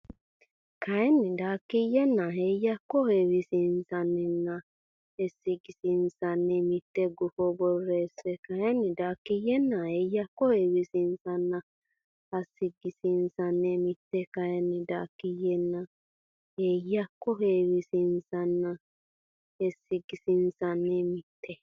kayinni Daakiyyenna Heeyyakko heewisiissinanninna heesagisiissinanni mitte gufo borreesse kayinni Daakiyyenna Heeyyakko heewisiissinanninna heesagisiissinanni mitte kayinni Daakiyyenna Heeyyakko heewisiissinanninna heesagisiissinanni mitte.